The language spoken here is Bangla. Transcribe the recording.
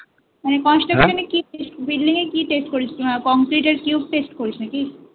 মানে Construction এ তোরা building এর কি test করিস concrete এর cube test করিস নাকি?